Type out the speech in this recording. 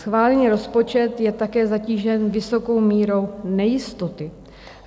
Schválený rozpočet je také zatížen vysokou mírou nejistoty.